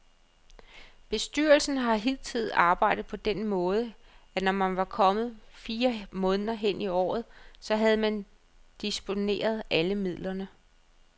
Bestyrelsen har hidtil arbejdet på den måde, at når man var kommet fire måneder hen i året, så havde man disponeret alle midlerne.